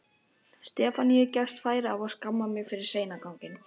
Stefaníu gefst færi á að skamma mig fyrir seinaganginn.